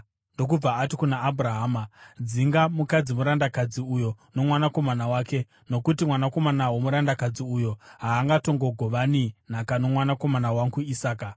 ndokubva ati kuna Abhurahama, “Dzinga mukadzi murandakadzi uyo nomwanakomana wake, nokuti mwanakomana womurandakadzi uyo haangatongogovani nhaka nomwanakomana wangu Isaka.”